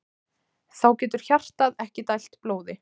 Þá getur hjartað ekki dælt blóði.